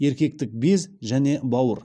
еркектік без және бауыр